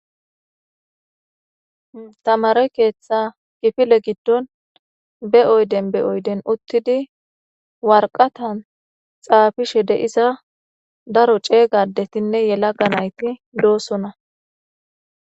Tamarey keeththa gifile giddon be oyden be oyden uttidi warqatan xaafishe de'iza daro ceeygadetinne yelaga nayti doosona.